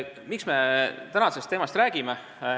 Miks me täna sellel teemal räägime?